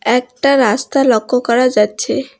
একটা রাস্তা লক্ষ করা যাচ্ছে।